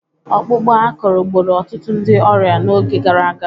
Ọkpụkpụ akụrụ gburu ọtụtụ ndị ọrịa n'oge gara aga